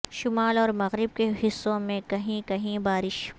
شمال اور مغرب کے حصوں میں کہیں کہیں بارش